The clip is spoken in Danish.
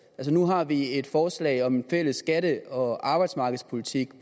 nu har vi et forslag om en fælles skatte og arbejdsmarkedspolitik